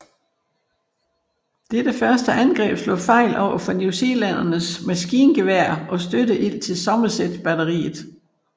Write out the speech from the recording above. Dette første angreb slog fejl overfor newzealændernes maskingeværer og støtteild fra Somerset batteriet